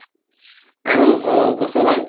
আৰু অহ বস্তু হʼল